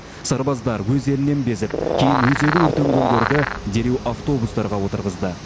сарбаздар өз елінен безіп кейін өзегі өртенгендерді дереу автобустарға отырғызды